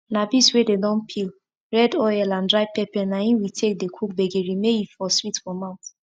na beans wey dem don peel red oil and dry pepper na im we take dey cook gbegiri may e for sweet for mouth